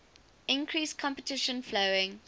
increased competition following